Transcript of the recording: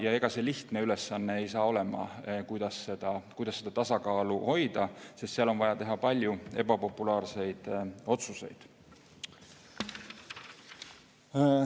Ja ega see lihtne ülesanne ei saa olema, kuidas seda tasakaalu hoida, sest seal on vaja teha palju ebapopulaarseid otsuseid.